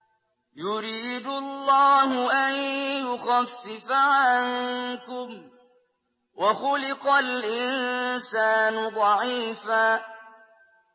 يُرِيدُ اللَّهُ أَن يُخَفِّفَ عَنكُمْ ۚ وَخُلِقَ الْإِنسَانُ ضَعِيفًا